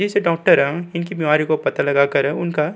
इस डॉक्टर इसकी बीमारी को पता लगा कर उनका --